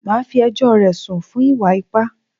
Màá fí ẹjọ́ rẹ̀ sùn fún ìwà ipá!